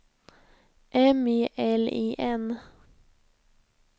M E L I N